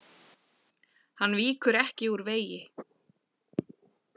Hann víkur ekki úr vegi.